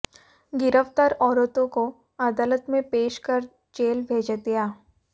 गिरफ्तार औरतों को अदालत में पेश कर जेल भेज दिया